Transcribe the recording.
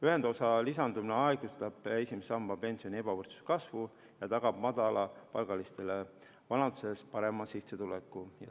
Ühendosa lisandumine aeglustab esimese samba pensioni ebavõrdsuse kasvu ja tagab madalapalgalistele vanaduses parema sissetuleku.